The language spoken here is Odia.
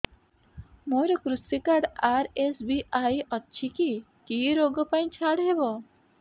ମୋର କୃଷି କାର୍ଡ ଆର୍.ଏସ୍.ବି.ୱାଇ ଅଛି କି କି ଋଗ ପାଇଁ ଛାଡ଼ ହବ